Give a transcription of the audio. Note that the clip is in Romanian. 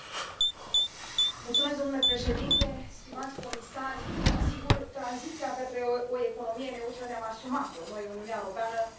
Domnule președinte, stimați comisari, sigur, tranziția către o economie neutră ne am asumat o, noi, Uniunea Europeană, prin Acordul de la Paris.